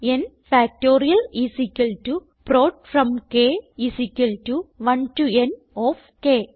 N factorial is equal to prod from k 1 to n of K